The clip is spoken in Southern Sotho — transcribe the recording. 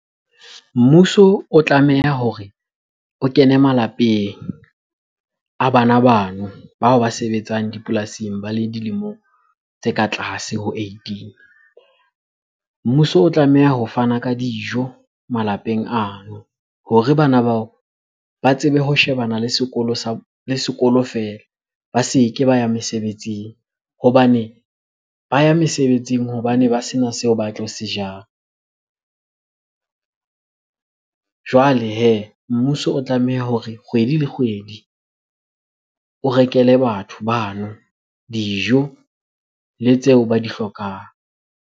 Mmuso o tlameha hore o kene malapeng a bana bano bao ba sebetsang dipolasing ba le dilemo tse ka tlase ho eighteen. Mmuso o tlameha ho fana ka dijo malapeng ano hore bana bao ba tsebe ho shebana le sekolo sa, le sekolo feela ba se ke ba ya mesebetsing. Hobane ba ya mesebetsing hobane ba sena seo ba tlo se jang. Jwale hee, mmuso o tlameha hore kgwedi le kgwedi o rekele batho bano dijo le tseo ba di hlokang.